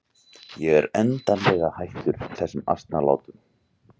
Ég er endanlega hættur þessum asnalátum.